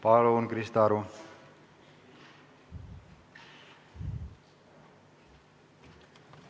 Palun, Krista Aru!